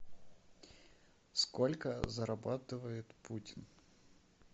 сколько зарабатывает путин